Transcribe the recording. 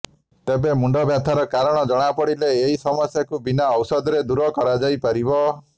ତେବେ ମୁଣ୍ଡବ୍ୟଥାର କାରଣ ଜଣାପଡ଼ିଲେ ଏହି ସମସ୍ୟାକୁ ବିନା ଔଷଧରେ ଦୂର କରାଯାଇପାରିବ